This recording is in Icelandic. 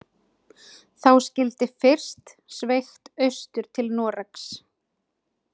Þá skyldi fyrst sveigt austur til Noregs.